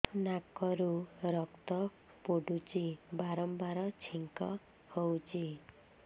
ନାକରୁ ରକ୍ତ ପଡୁଛି ବାରମ୍ବାର ଛିଙ୍କ ହଉଚି